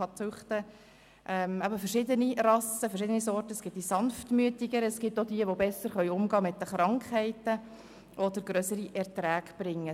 Man kann verschiedene Rassen züchten, von denen es sanftmütigere gibt, aber auch solche, die mit Krankheiten besser umgehen können oder die grössere Erträge bringen.